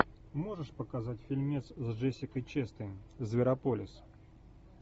можешь показать фильмец с джессикой честейн зверополис